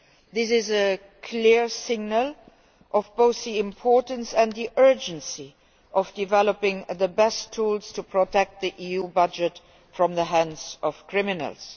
This is a clear signal of both the importance and the urgency of developing the best tools to protect the EU budget from the hands of criminals.